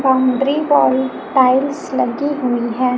Boundary पर tiles लगी हुई है।